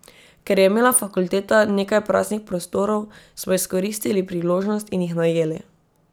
Ker je imela fakulteta nekaj praznih prostorov, smo izkoristili priložnost in jih najeli.